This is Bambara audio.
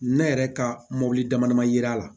Ne yɛrɛ ka mɔbili dama dama yera a la